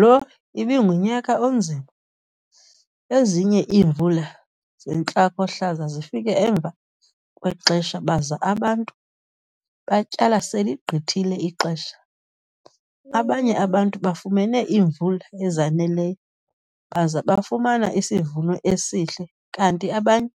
Lo ibingunyaka onzima - ezinye iimvula zentlakohlaza zifike emva kwexesha baza abantu batyala seligqithile ixesha, abanye abantu bafumene iimvula ezaneleyo baza bafumana isivuno esihle, kanti abanye